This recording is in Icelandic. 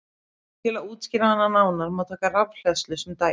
Til að útskýra hana nánar má taka rafhleðslu sem dæmi.